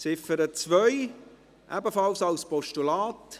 Ziffer 2, ebenfalls als Postulat.